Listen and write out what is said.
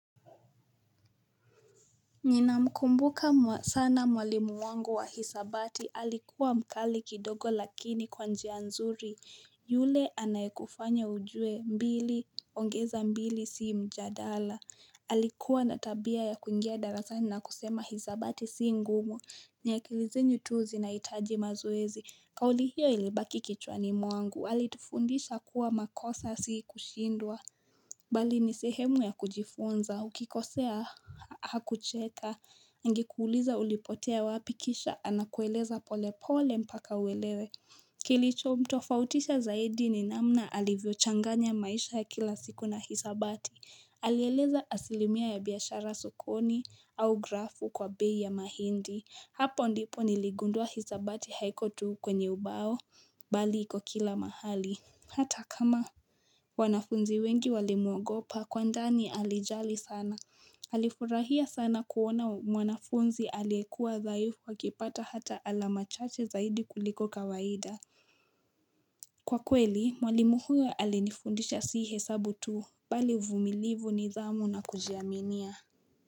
Ninamkumbuka sana mwalimu wangu wa hisabati alikuwa mkali kidogo lakini kwa njia nzuri yule anayekufanya ujue mbili ongeza mbili si mjadala Alikuwa na tabia ya kuingia darasani na kusema hisabati si ngumu ni akili zenyu tu zinahitaji mazoezi kauli hiyo ilibaki kichwani mwangu alitufundisha kuwa makosa si kushindwa Bali ni sehemu ya kujifunza, ukikosea hakucheka, angekuuliza ulipotea wapi kisha, anakueleza pole pole mpaka uelewe. Kilichomtofautisha zaidi ni namna alivyochanganya maisha ya kila siku na hisabati. Alieleza asilimia ya biashara sokoni au grafu kwa bei ya mahindi. Hapo ndipo niligundua hisabati haiko tu kwenye ubao, bali iko kila mahali. Hata kama wanafunzi wengi walimwogopa kwa ndani alijali sana Alifurahia sana kuona mwanafunzi aliyekua dhaifu akipata hata alama chache zaidi kuliko kawaida Kwa kweli, mwalimu huyo alinifundisha si hesabu tu, bali uvumilivu nidhamu na kujiaminia.